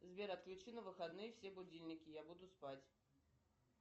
сбер отключи на выходные все будильники я буду спать